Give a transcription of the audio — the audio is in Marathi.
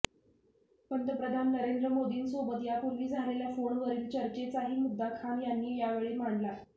पंतप्रधान नरेंद्र मोदींसोबत यापूर्वी झालेल्या फोनवरील चर्चेचाही मुद्दा खान यांनी यावेळी मांडला